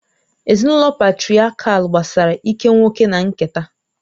Ezinụlọ Patrịakial gbasara ike nwoke na nketa